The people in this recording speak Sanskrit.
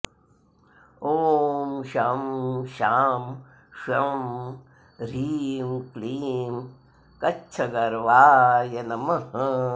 ॐ शं शां षं ह्रीं क्लीं कच्छगर्वाय नमः